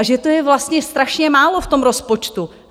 A že to je vlastně strašně málo v tom rozpočtu.